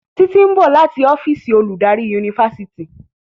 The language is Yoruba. Titi nbọ lati ọ́fíìsì oludari Yunifásitìni.